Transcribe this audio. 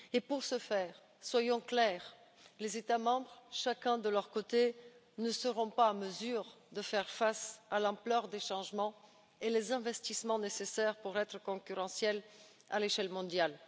Pour ce faire, soyons clairs, les États membres chacun de leur côté ne seront pas en mesure de faire face à l'ampleur des changements et des investissements nécessaires pour être concurrentiels à l'échelle mondiale.